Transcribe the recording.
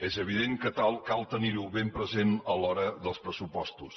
és evident que cal tenir ho ben present a l’hora dels pressupostos